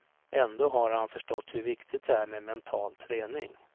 Ändå har han förstått hur viktigt det är med mental träning.